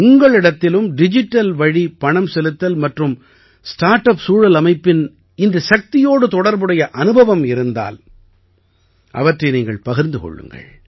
உங்களிடத்திலும் digital வழி பணம் செலுத்தல் மற்றும் ஸ்டார்ட் அப் சூழல் அமைப்பின் இந்த சக்தியோடு தொடர்புடைய அனுபவம் இருந்தால் அவற்றை நீங்கள் பகிர்ந்து கொள்ளுங்கள்